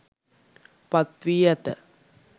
පත් වී ඇත